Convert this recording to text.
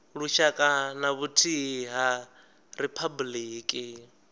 lushaka na vhuthihi ha riphabuliki